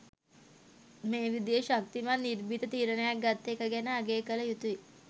මේ විදියේ ශක්තිමත් නිර්භීත තීරණයක් ගත්ත එක ගැන අගය කල යුතුයි.